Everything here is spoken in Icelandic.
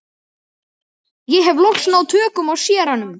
Ég hef loks náð tökum á séranum.